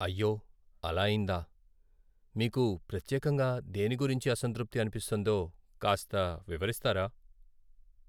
అయ్యో అలా అయిందా. మీకు ప్రత్యేకంగా దేని గురించి అసంతృప్తి అనిపిస్తోందో కాస్త వివరిస్తారా?